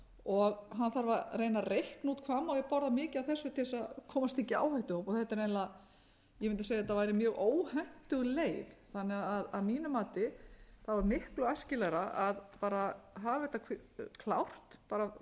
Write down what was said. og hann þarf að reikna út hvað má ég borða mikið af þessu til þess að komast ekki í áhættuhóp þannig að þetta er eiginlega ég mundi segja að þetta væri mjög óhentug leið þannig að mínu mati er miklu æskilegra að bara hafa þetta klárt frá